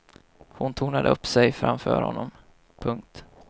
Hon tornade upp sig framför honom. punkt